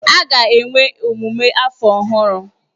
A ga-enwe emume afọ ọhụrụ.